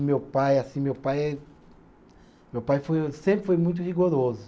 E meu pai, assim, meu pai eh, meu pai foi o sempre foi muito rigoroso.